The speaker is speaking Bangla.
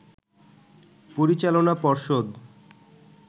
পরিচালনা পর্ষদ